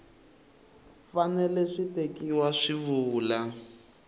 fanele swi tekiwa swi vula